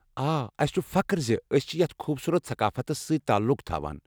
آ، اسہِ چھُ فخر زِ ٲسۍ چھِ یتھ خوبصوٗرت ثقافتَس سۭتۍ تعلُق تھاوان۔